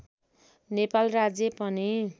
नेपाल राज्य पनि